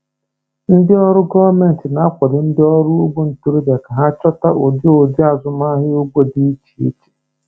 Ndị ọrụ gọọmenti na-akwado ndị ọrụ ugbo ntorobịa ka ha chọpụta ụdị ụdị azụmahịa ugbo dị iche iche.